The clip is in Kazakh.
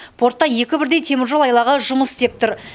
портта екі бірдей теміржол айлағы жұмыс істеп тұр